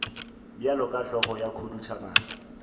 bjalo ka hlogo ya khuduthamaga